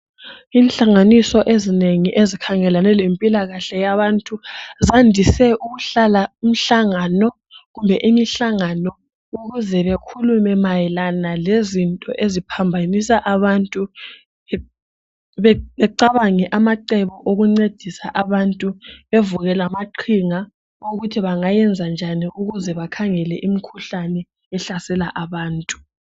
Inhlanganiso ezinengi ezikhangelane lempilakahle yabantu bandise ukuhlala imihlanganano ukuze bekhulume mayelana lezinto eziphambanisa abantu. Becabange amacebo okuncedisa abantu bevuke lamaqhinga ukuthi bengenza njani ukuze bakhangele imikhuhlane ehlasela abantu.